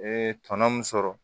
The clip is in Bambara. Ee tɔnɔ min sɔrɔ